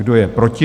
Kdo je proti?